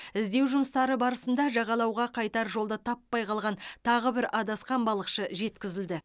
іздеу жұмыстары барысында жағалауға қайтар жолды таппай қалған тағы бір адасқан балықшы жеткізілді